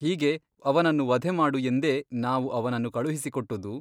ಹೀಗೆ ಅವನನ್ನು ವಧೆಮಾಡು ಎಂದೇ ನಾವು ಅವನನ್ನು ಕಳುಹಿಸಿಕೊಟ್ಟುದು?